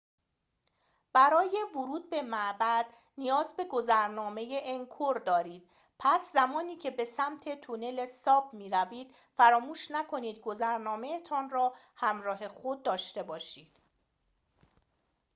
برای ورود به معبد نیاز به گذرنامه انکور دارید پس زمانی که به سمت تونله ساپ می‌روید فراموش نکنید گذرنامه‌تان را ‌همراه خود داشته باشید